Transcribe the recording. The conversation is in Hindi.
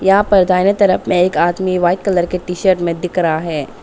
यहां पर दाहिने तरफ में एक आदमी व्हाइट कलर के टी शर्ट में दिख रहा है।